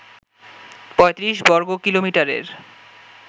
৩৫ বর্গ কিলোমিটারের